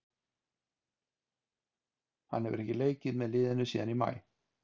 Hann hefur ekki leikið með liðinu síðan í maí.